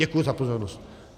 Děkuji za pozornost.